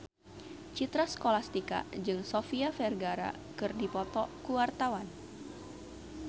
Citra Scholastika jeung Sofia Vergara keur dipoto ku wartawan